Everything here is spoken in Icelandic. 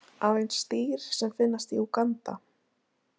Aðeins dýr sem finnast í Úganda.